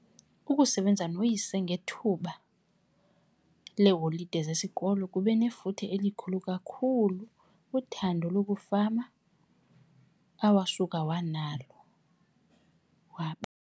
Ukusebenza noyise ngethuba leeholide zesikolo kube nefuthe elikhulu kakhulu kuthando lokufama awasuka wanalo.